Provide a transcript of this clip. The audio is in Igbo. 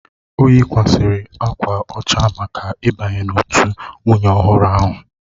O yikwasịrị akwa ọcha maka ịbanye n'òtù nwunye ọhụrụ ahụ.